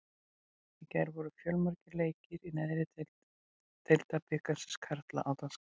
Í gær voru fjölmargir leikir í neðri deild Deildabikars karla á dagskránni.